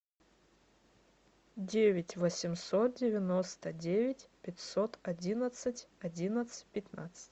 девять восемьсот девяносто девять пятьсот одиннадцать одиннадцать пятнадцать